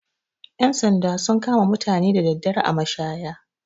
Ƴan sanda sun kama mutane da daddare a mashaya.